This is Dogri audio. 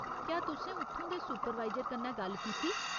क्या तुसें उत्थूं दे सुपरवाइजर कन्नै गल्ल कीती?